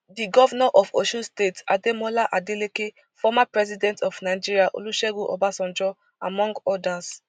di govnor of osun state ademola adeleke former president of nigeria olusegun obasanjo among odas